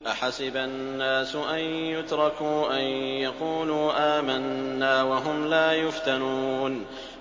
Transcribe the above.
أَحَسِبَ النَّاسُ أَن يُتْرَكُوا أَن يَقُولُوا آمَنَّا وَهُمْ لَا يُفْتَنُونَ